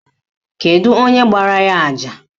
Kedu onye gbara ya àjà?